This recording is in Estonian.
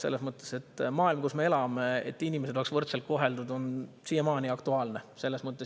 Selles mõttes, et see, et inimesed oleks võrdselt koheldud maailmas, kus me elame, on siiamaani aktuaalne.